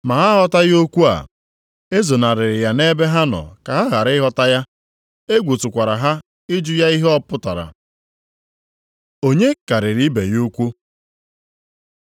Ma ha aghọtaghị okwu a. E zonarịrị ya nʼebe ha nọ ka ha ghara ịghọta ya. Egwu tụkwara ha ịjụ ya ihe ọ pụtara. Onye karịrị ibe ya ukwuu?